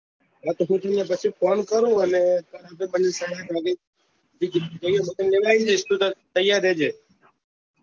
હા તો નીકળિયા પછી phone કરું અને સાડા આઠ વાગે જઈએ હું તને લેવા આઈ જઈશ તૈયાર રે જે